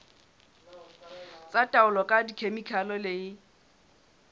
tsa taolo ka dikhemikhale le